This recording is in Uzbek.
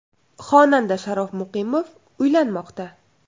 Xonanda Sharof Muqimov uylanmoqda.